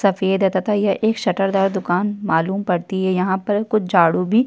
सफ़ेद है तथा यह एक शटर दार दुकान मालूम पड़ती है यहाँ पर कुछ झाड़ू भी --